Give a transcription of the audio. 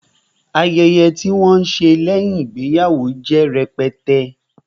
Ayẹyẹ tí wọn ṣe lẹ́yìn ìgbéyàwó jẹ́ rẹpẹtẹ